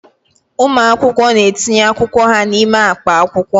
Ụmụ akwụkwọ na-etinye akwụkwọ ha n'ime akpa akwụkwọ.